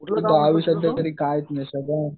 गावी